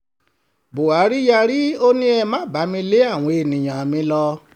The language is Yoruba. buhari yarí ó ní ẹ má bá mi lé àwọn èèyàn mi lọ